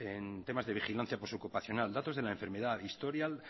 en temas de vigilancia postocupacional datos de la enfermedad historia